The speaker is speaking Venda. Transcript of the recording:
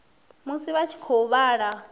musi vha tshi khou vhala